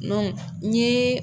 Dɔnku n ye